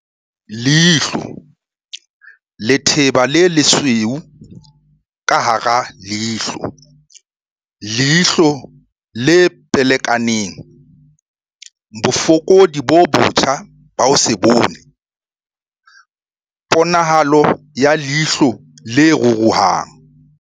Leihlo. Letheba le lesweu ka hara leihlo, leihlo le pelekanang, bofokodi bo botjha ba ho se bone, ponahalo ya leihlo le ruruhang